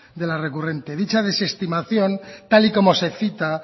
de la recurrente dicha desestimación tal y como se cita